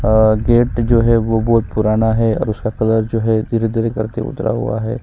अ gate जो है वो बहुत पुराना है और उसका कलर जो है धीरे-धीरे करके उतरा हुआ हैं।